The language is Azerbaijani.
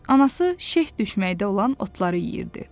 Anası şeh düşməkdə olan otları yeyirdi.